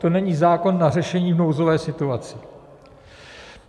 To není zákon na řešení nouzové situace.